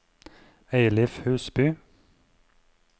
Eilif Husby